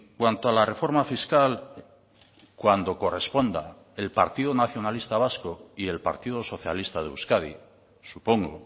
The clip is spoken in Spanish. cuanto a la reforma fiscal cuando corresponda el partido nacionalista vasco y el partido socialista de euskadi supongo